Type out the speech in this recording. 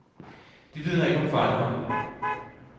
Det vidner ikke om fighterånd.